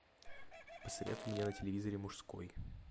посоветуй мне на телевизоре мужской